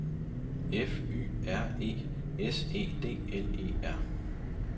F Y R E S E D L E R